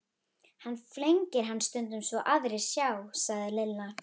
Hann flengir hann stundum svo aðrir sjá, sagði Lilla.